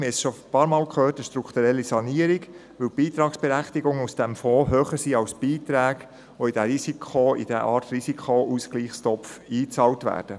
Der Wasserfonds benötigt eine strukturelle Sanierung, weil die Beitragsberechtigungen aus diesem Fonds höher sind als die Beiträge, die in diese Art Risikoausgleichstopf einbezahlt werden.